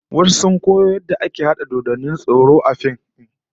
Wasu sun koyo yadda ake harhada dodannin tsoro A fim